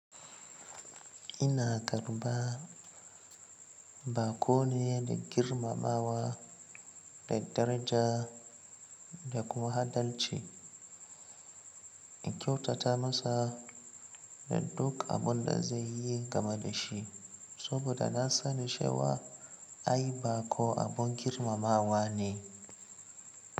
Ina tarɓa baƙo ne da girmamawa, da daraja da kuma adalci, in kyautata masa da ɗuk abun da zai yi game da shi, saboda na sani cewa ai baƙo abin girmamawa ne.